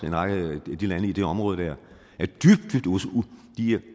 en række lande i det område der de er